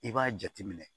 I b'a jate minɛ